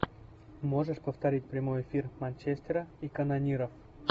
можешь повторить прямой эфир манчестера и канонира